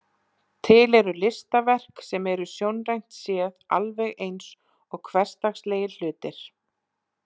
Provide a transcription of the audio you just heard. Til eru listaverk sem eru sjónrænt séð alveg eins og hversdagslegir hlutir.